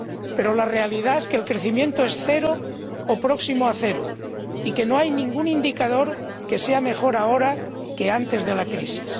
Pero la realidad es que el crecimiento es cero o próximo a cero y que no hay ningún indicador que sea mejor ahora que antes de la crisis.